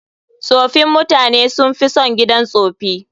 Tsofin mutane sun fi son gidan tsofi.